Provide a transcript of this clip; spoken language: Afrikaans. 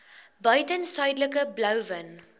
buiten suidelike blouvin